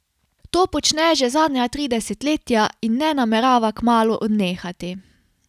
To počne že zadnja tri desetletja in ne namerava kmalu odnehati.